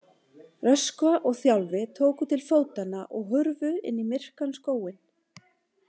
Röskva og Þjálfi tóku til fótanna og hurfu inn í myrkan skóginn.